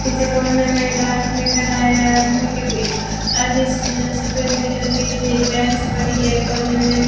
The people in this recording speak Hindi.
पीछे कॉर्नर मे एक आदमी खड़ा है आदमी के आगे सफेद कलर के बेग बैंच पड़ी है कॉर्नर मे --